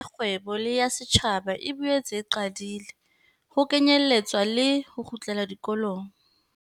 Mesebetsi e mengata ya kgwebo le ya setjhaba e boetse e qadile, ho kenyeletswa le ho kgutlela dikolong.